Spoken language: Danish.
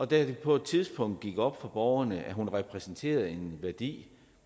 det på et tidspunkt gik op for borgerne at hun repræsenterede en værdi